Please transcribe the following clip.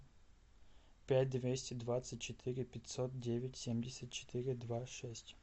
пять двести двадцать четыре пятьсот девять семьдесят четыре два шесть